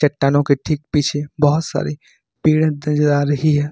चट्टानों के ठीक पीछे बहुत सारे पेड़ नजर आ रही है।